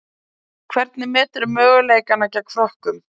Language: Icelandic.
Hvernig meturðu möguleikana gegn Frökkum?